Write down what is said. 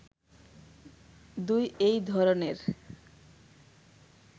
২ এই ধরনের